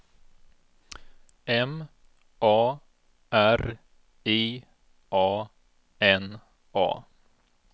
M A R I A N A